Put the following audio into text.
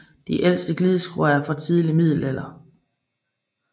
De ældste gildeskråer er fra tidlig middelalder